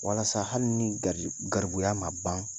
Walasa hali ni ga garibuya ma ban